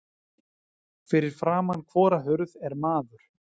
Fyrir framan hvora hurð er maður.